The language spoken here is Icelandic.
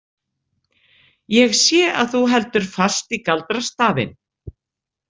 Ég sé að þú heldur fast í galdrastafinn.